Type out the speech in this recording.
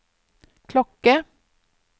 klokke